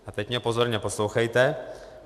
A teď mě pozorně poslouchejte.